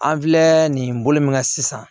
An filɛ nin bolo min ka sisan